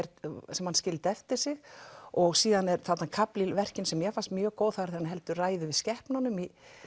sem hann skildi eftir sig og síðan er þarna kafli í verkinu sem mér fannst mjög góður þegar hann heldur ræðu yfir skepnunum